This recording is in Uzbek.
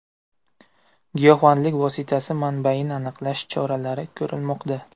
Giyohvandlik vositasi manbaini aniqlash choralari ko‘rilmoqda.